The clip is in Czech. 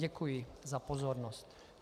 Děkuji za pozornost.